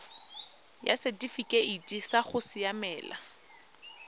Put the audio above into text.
ya setifikeite sa go siamela